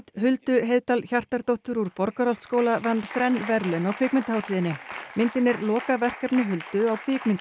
Huldu Heiðdal Hjartardóttur úr Borgarholtsskóla vann þrenn verðlaun á kvikmyndahátíðinni myndin er lokaverkefni Huldu á